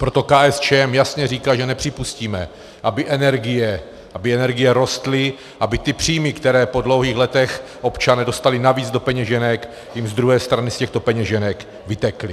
Proto KSČM jasně říká, že nepřipustíme, aby energie rostly, aby ty příjmy, které po dlouhých letech občané dostali navíc do peněženek, jim z druhé strany z těchto peněženek vytekly.